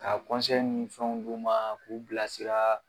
Ka ni fɛnw d'u ma k'u bilasira.